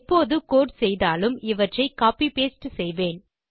எப்போது கோடு செய்தாலும் இவற்றை கோப்பி பாஸ்டே செய்வேன்